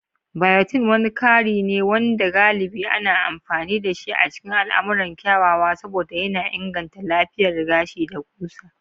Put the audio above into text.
Biotin wani kari ne wanda galibi ana amfani dashi a cikin al'amuran kyawawa saboda yana inganta lafiyar gashi da ƙusa.